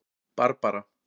Barbara